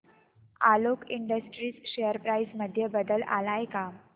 Alok industries share price मध्ये बदल आलाय का